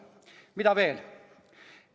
Mida veel?